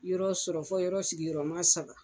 Yɔrɔ sɔrɔ fɔ yɔrɔ sigiyɔrɔma saba.